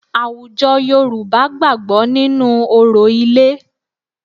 Àwùjọ Yorùbá gbàgbọ́ nínú orò ilé